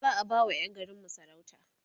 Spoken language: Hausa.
za'a ba wa Yan garinmu sarauta